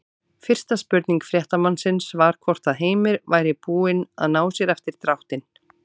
Fyrsta spurning fréttamannsins var hvort að Heimir væri búinn að ná sér eftir dráttinn?